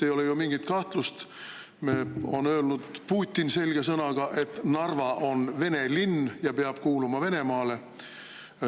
Ei ole ju mingit kahtlust, et Putin on selge sõnaga öelnud, et Narva on vene linn ja peab kuuluma Venemaale.